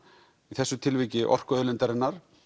í þessu tilviki orkuauðlindarinnar